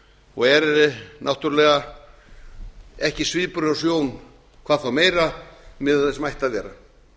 og er náttúrlega ekki svipur hjá sjón hvað þá meira miðað við það sem ætti að vera